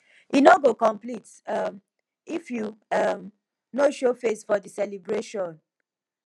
e no go complete um if you um no show face for di celebration